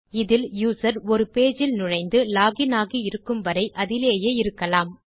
இதில் யூசர் ஒரு பேஜ் இல் நுழைந்து லாக் இன் ஆகி இருக்கும் வரை அதிலேயே இருக்கலாம்